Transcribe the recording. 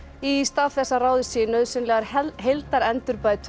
í stað þess að ráðist sé í nauðsynlegar